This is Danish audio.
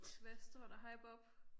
Hvad står der hej Bob